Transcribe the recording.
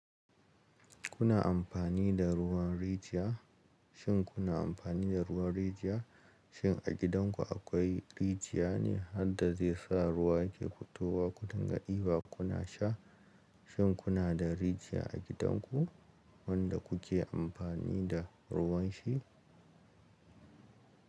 Kuna amfani da ruwan rijiya? Shin kuna amfani da ruwan rijiya? Shin a gidanku akwai rijiya ne har da zai sa ruwa yake fitowa kudin ga diba kuna sha? Shin kuna da rijiya a gidanku wanda kuke amfani da ruwan shi?